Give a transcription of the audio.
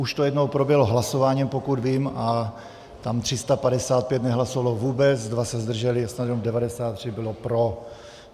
Už to jednou proběhlo hlasováním, pokud vím, a tam 355 nehlasovalo vůbec, 2 se zdrželi a snad jenom 93 bylo pro.